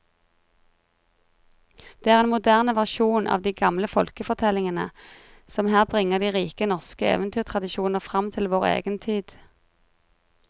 Det er en moderne versjon av de gamle folkefortellingene som her bringer de rike norske eventyrtradisjoner fram til vår egen tid.